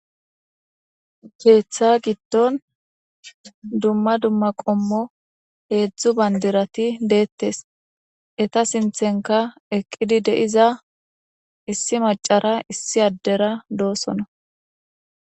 Keeththa giddon dumma dumma qoommo hedzdzu bandaratti de'ettes eetta siththenikka eeqidi de'iza issi macara issi addera dosonna.